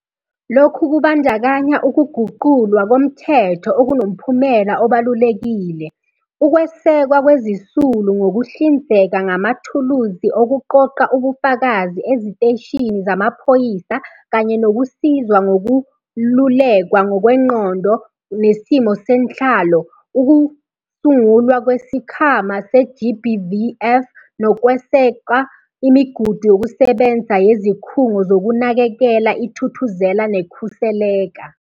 Lokhu kubandakanya ukuguqulwa komthetho okunomphumela obalulekile, ukwesekwa kwezisulu ngokuhlinzeka ngamathuluzi okuqoqa ubufakazi eziteshini zamaphoyisa kanye nokusizwa ngokululekwa ngokwengqondo nesimo senhlalo, ukusungulwa kweSikhwama se-GBVF nokweseka imigudu yokusebenza yeziKhungo Zokunakekela iThuthuzela neKhuseleka.